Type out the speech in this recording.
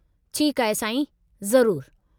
ठीकु आहे साईं, ज़रूरु।